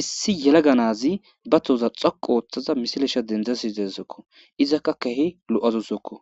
Issi yelaga nazi ba tooza xoqu ooththaza misilesha dendzasi desokko izakka kehi lo7azosokko